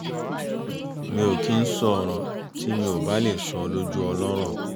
mi ò kí ń sọ ọ̀rọ̀ tí mi ò bá le sọ lójú ọlọ́rọ̀